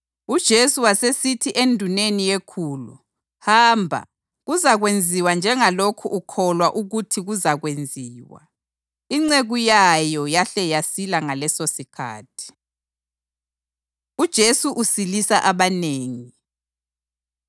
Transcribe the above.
UJesu wasesithi enduneni yekhulu, “Hamba! Kuzakwenziwa njengalokhu ukholwa ukuthi kuzakwenziwa.” Inceku yayo yahle yasila ngalesosikhathi. UJesu Usilisa Abanengi